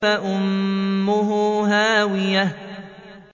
فَأُمُّهُ هَاوِيَةٌ